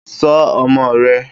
Ṣọ́ ọmọ rẹ